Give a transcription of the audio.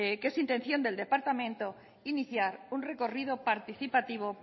que es intención del departamento iniciar un recorrido participativo